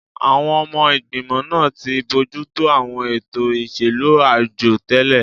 Àwọn ọmọ ìgbìmọ̀ náà ti ń bójú tó àwọn ètò ìṣèlú àjọ tẹ́lẹ̀